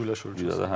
Güləş ölkəsi.